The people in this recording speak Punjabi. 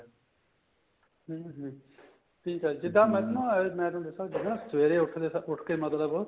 ਹਮ ਹਮ ਠੀਕ ਏ ਨਾ ਮੈਂ ਤੁਹਾਨੂੰ ਦਸਾ ਸਵੇਰੇ ਉਠ ਕੇ ਉਠ ਕੇ ਮਤਲਬ